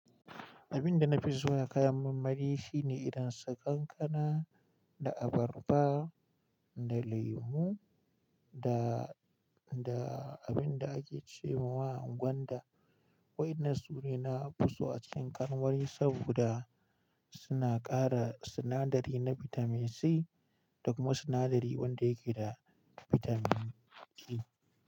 Abin da na fi so a kayan marmari shine idan suka ƙanƙana da abarba da lemo da, da abin da ake ce wa gwanda. Waɗannan su ne na fi so a cikin ƙarnuwari saboda suna ƙara sinadari na bitamin C da kuma sinadari wanda yake da bitamin G.